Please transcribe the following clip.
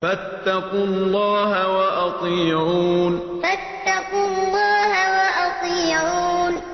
فَاتَّقُوا اللَّهَ وَأَطِيعُونِ فَاتَّقُوا اللَّهَ وَأَطِيعُونِ